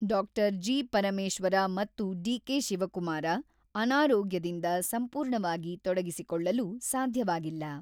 ಡಾ.ಜಿ.ಪರಮೇಶ್ವರ ಮತ್ತು ಡಿ.ಕೆ.ಶಿವಕುಮಾರ ಅನಾರೋಗ್ಯದಿಂದ ಸಂಪೂರ್ಣವಾಗಿ ತೊಡಗಿಸಿಕೊಳ್ಳಲು ಸಾಧ್ಯವಾಗಿಲ್ಲ.